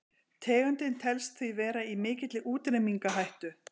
tegundin telst því vera í mikilli útrýmingarhættu